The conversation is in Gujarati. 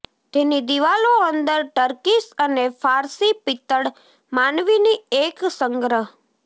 તેની દિવાલો અંદર ટર્કીશ અને ફારસી પિત્તળ માનવીની એક સંગ્રહ